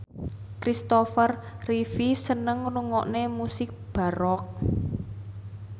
Christopher Reeve seneng ngrungokne musik baroque